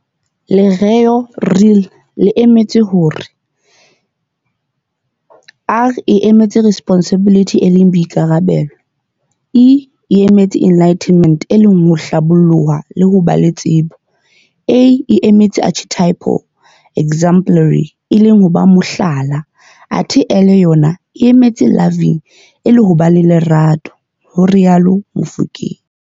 Lereo "Real" le emetse hore R e emetse Responsibility e leng Boikarabelo, E e emetse Enlightenment e leng ho Hlaboloha le ho ba le tsebo, A e emetse Archetypal, exemplary, e leng ho ba Mohlala, athe L yona e emetse Loving e leng ho ba le Lerato," ho rialo Mofokeng.